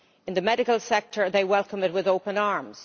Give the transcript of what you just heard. In the medical sector they welcome it with open arms.